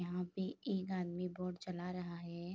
यहाँ पे एक आदमी बोट चला रहा है।